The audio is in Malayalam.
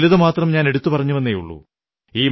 ചിലതുമാത്രം ഞാനെടുത്തുപറഞ്ഞുവെന്നേയുള്ളൂ